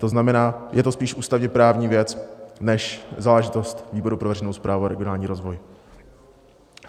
To znamená, je to spíš ústavně-právní věc než záležitost výboru pro veřejnou správu a regionální rozvoj.